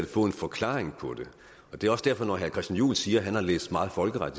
få en forklaring på det det er også derfor når herre christian juhl siger at han har læst meget folkeret